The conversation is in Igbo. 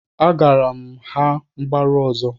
Agaara m ha mgbaru ọzọ